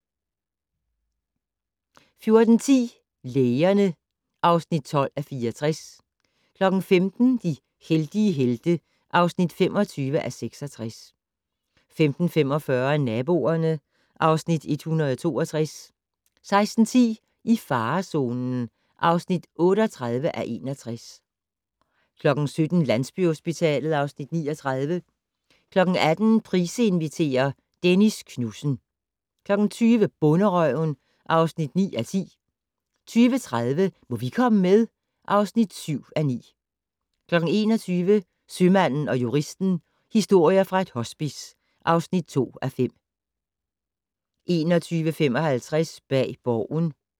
14:10: Lægerne (12:64) 15:00: De heldige helte (25:66) 15:45: Naboerne (Afs. 162) 16:10: I farezonen (38:61) 17:00: Landsbyhospitalet (Afs. 39) 18:00: Price inviterer - Dennis Knudsen 20:00: Bonderøven (9:10) 20:30: Må vi komme med? (7:9) 21:00: Sømanden & Juristen - historier fra et hospice (2:5) 21:55: Bag Borgen